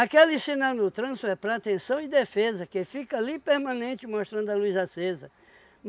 Aquele sinal no trânsito é para atenção e defesa, que fica ali permanente mostrando a luz acesa.